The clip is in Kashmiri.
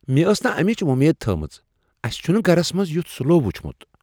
مےٚ ٲس نہٕ امِچ وۄمید تھٲومژ۔ اَسِہ چُھنہٕ گَرس منٛز یتھ سلو وچھمت ۔